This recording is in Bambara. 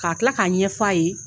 Ka tila k'a ɲɛfɔ a .ye.